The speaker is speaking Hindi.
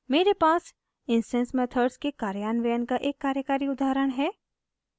मेरे पास इंस्टैंस मेथड्स के कार्यान्वयन का एक कार्यकारी उदाहरण है